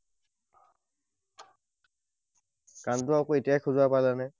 কাণটো আকৌ এতিয়াহে খজুৱাব পালা নে?